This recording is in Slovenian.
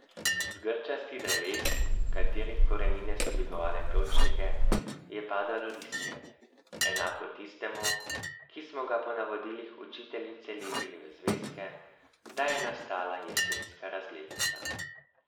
Z grčastih dreves, katerih korenine so dvigovale pločnike, je padalo listje, enako tistemu, ki smo ga po navodilih učiteljice lepili v zvezke, da je nastala jesenska razglednica.